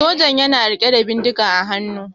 sojan yana rike da bindiga a haanu